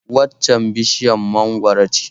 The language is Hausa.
Waccan bishiyar mangwaro ce